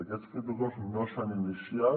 aquests protocols no s’han iniciat